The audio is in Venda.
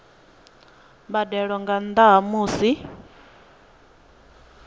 mbadelo nga nnda ha musi